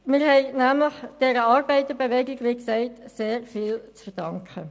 Wir haben der Arbeiterbewegung, wie zuvor ausgeführt worden ist, sehr viel zu verdanken.